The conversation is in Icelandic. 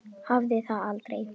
Hafði það aldrei.